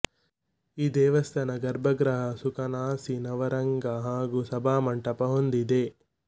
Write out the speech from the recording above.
ಈ ದೇವಸ್ಥಾನ ಗರ್ಭಗೃಹ ಸುಕನಾಸಿ ನವರಂಗ ಹಾಗು ಸಭಾಮಂಟಪ ಹೊಂದಿದೆ